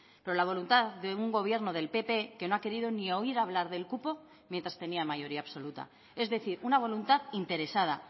pero la voluntad de un gobierno del pp que no ha querido ni oír hablar del cupo mientras tenía mayoría absoluta es decir una voluntad interesada